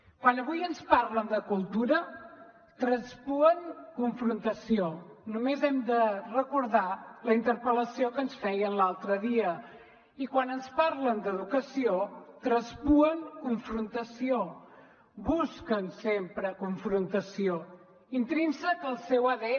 quan avui ens parlen de cultura traspuen confrontació només hem de recordar la interpel·lació que ens feien l’altre dia i quan ens parlen d’educació traspuen confrontació busquen sempre confrontació intrínsec al seu adn